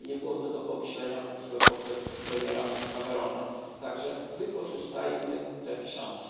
Nie było to do pomyślenia w epoce premiera Camerona, tak że wykorzystajmy tę szansę.